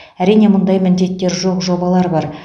әрине мұндай міндеттер жоқ жобалар бар